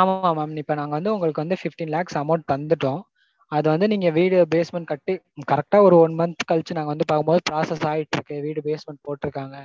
ஆமாமா mam இப்போ வந்து நாங்க fifteen lakhs amount தந்துட்டோம். அது வந்து நீங்க வீடு வந்து basement கட்டி correct ஆ ஒரு one month கழிச்சு நாங்க வந்து பாக்கும்போது process ஆயிட்டிருக்கு basement போட்டுருக்காங்க.